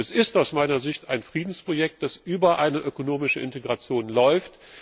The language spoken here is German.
Es ist aus meiner Sicht ein Friedensprojekt, das über eine ökonomische Integration läuft.